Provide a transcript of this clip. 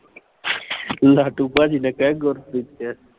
ਲਾਟੂ ਭਾਜੀ ਨਾ ਕਹਿ ਗੁਰਪ੍ਰੀਤ ਕਹਿ।